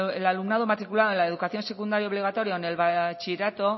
el alumnado matriculado en la educación secundaria obligatoria o en el bachillerato